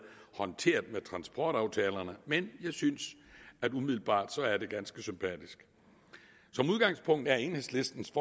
håndteret med transportaftalerne men jeg synes at det umiddelbart er ganske sympatisk som udgangspunkt er enhedslistens